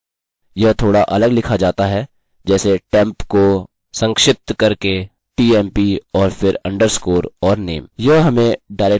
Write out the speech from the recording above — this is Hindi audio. यह थोड़ा अलग लिखा जाता है जैसे टेम्प को संक्षिप्त करके tmp और फिर अंडरस्कोर और name